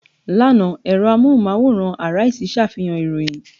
Lánàá, ẹ̀rọ amóhùmáwòhán Arise ṣàfihàn ìròyìn.